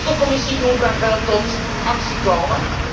Nu moet de Commissie Juncker wel in actie komen.